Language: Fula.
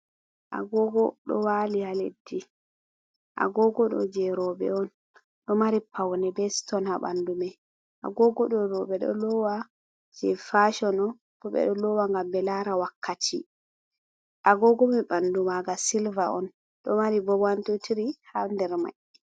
Agoogo ɗo waali ha leddi, agoogo ɗo je roɓe on, ɗo mari pauwne, be ston ha ɓandu mai. Agoogo ɗo roɓe ɗo loowa je faashon on, bo ɓe ɗo loowa ngam ɓe laara wakkati, agoogo mai ɓandu maaga silva on, ɗo mari bo waan-tuu-tiri ha nder der mai.